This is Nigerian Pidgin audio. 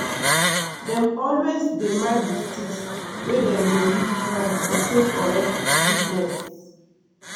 dem always dey mark sticks wey dem dey use plant to show correct deepness.